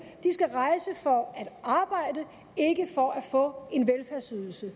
skal rejse for at arbejde ikke for at få en velfærdsydelse